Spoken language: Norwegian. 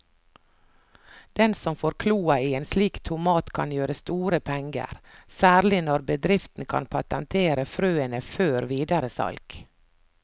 Den som får kloa i en slik tomat kan gjøre store penger, særlig når bedriften kan patentere frøene før videre salg.